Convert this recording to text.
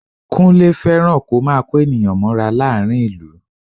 Kúnlé fẹ́ràn kó máa kó ènìyàn mọ́ra láàrín ìlú